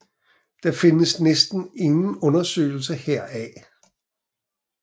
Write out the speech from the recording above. Der findes næsten ingen undersøgelser heraf